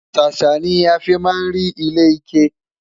sàsá ní àfi má rí ilé ike